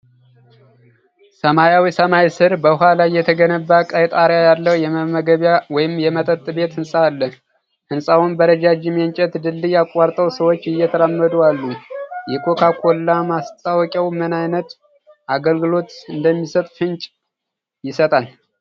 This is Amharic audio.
ሰማያዊ ሰማይ ስር፣ በውሃ ላይ የተገነባ ቀይ ጣሪያ ያለው የመመገቢያ ወይም የመጠጥ ቤት ህንጻ አለ። ህንጻውን በረጃጅም የእንጨት ድልድይ አቋርጠው ሰዎች እየተራመዱ አሉ። የኮካ ኮላ ማስታወቂያው ምን ዓይነት አገልግሎት እንደሚሰጥ ፍንጭ ይሰጣል?